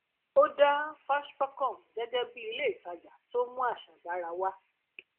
ó dá fashpacom gẹgẹ bí ilé ìtajà tó mú àṣà dára wá